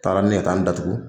A taara ne ye ka taa n datugu